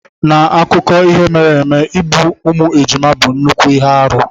N'akụkọ ihe mere eme, igbu ụmụ ejima bụ nnukwu ihe arụ.